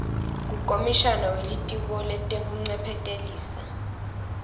kukomishana welitiko letekuncephetelisa